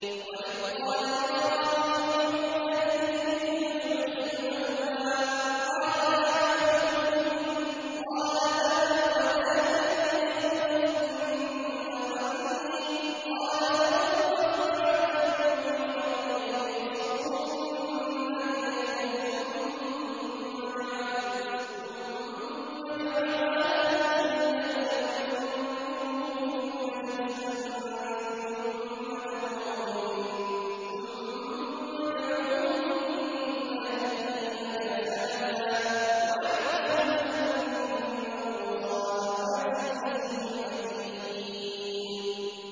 وَإِذْ قَالَ إِبْرَاهِيمُ رَبِّ أَرِنِي كَيْفَ تُحْيِي الْمَوْتَىٰ ۖ قَالَ أَوَلَمْ تُؤْمِن ۖ قَالَ بَلَىٰ وَلَٰكِن لِّيَطْمَئِنَّ قَلْبِي ۖ قَالَ فَخُذْ أَرْبَعَةً مِّنَ الطَّيْرِ فَصُرْهُنَّ إِلَيْكَ ثُمَّ اجْعَلْ عَلَىٰ كُلِّ جَبَلٍ مِّنْهُنَّ جُزْءًا ثُمَّ ادْعُهُنَّ يَأْتِينَكَ سَعْيًا ۚ وَاعْلَمْ أَنَّ اللَّهَ عَزِيزٌ حَكِيمٌ